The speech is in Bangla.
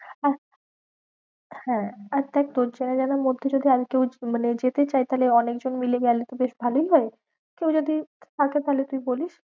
হ্যাঁ আর দেখ তোর চেনা জানার মধ্যে যদি আর কেউ মানে যেতে চায় তাহলে অনেক জন মিলে গেলো তো বেশ ভালোই হয়। কেউ যদি থাকে তাহলে তুই বলিস।